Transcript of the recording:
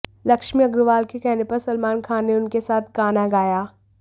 लक्ष्मी अग्रवाल के कहने पर सलमान खान ने उनके साथ गाना गाया